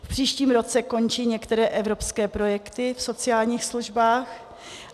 V příštím roce končí některé evropské projekty v sociálních službách.